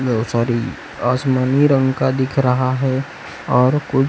no sorry आसमानी रंग का दिख रहा है और कु--